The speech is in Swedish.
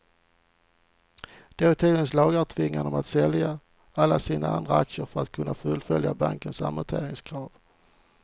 Dåtidens lagar tvingade dem att sälja alla sina andra aktier för att kunna fullfölja bankernas amorteringskrav.